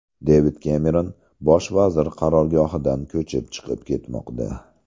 Devid Kemeron bosh vazir qarorgohidan ko‘chib chiqib ketmoqda.